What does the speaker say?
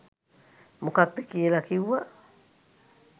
මොකක්ද කියලා කිව්වා.